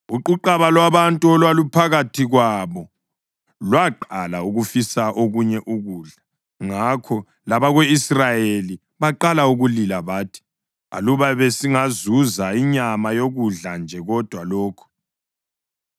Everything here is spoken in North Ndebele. Uquqaba lwabantu olwaluphakathi kwabo lwaqala ukufisa okunye ukudla, ngakho labako-Israyeli baqala ukulila bathi, “Aluba besingazuza inyama yokudla nje kodwa lokhu!